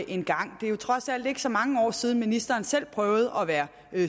en gang det er jo trods alt ikke så mange år siden ministeren selv prøvede at være